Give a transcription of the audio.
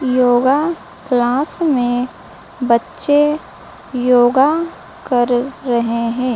Yoga class में बच्चे yoga कर रहे हैं।